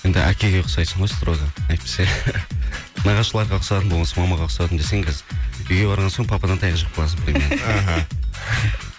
енді әкеге ұқсайсың ғой строго әйтпесе нағашыларға ұқсадым осы мамаға ұқсадым десең қазір үйге барған соң пападан таяқ жеп қаласың аха